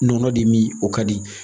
Nɔnɔ de min o ka di